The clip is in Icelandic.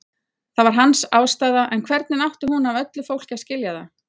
Það var hans ástæða en hvernig átti hún af öllu fólki að skilja það?